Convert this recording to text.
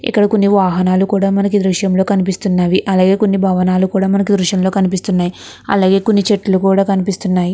ఇక్కడ కొన్ని వాహనాలు కూడా మనకి దుర్షంలో కనిపిస్తున్నవి. అలాగే కొన్ని భావనలు కూడా దుర్షం లో కనిపిస్తునవి. అలాగే కొన్ని చెట్టులు కూడా కనిపిస్తునవి.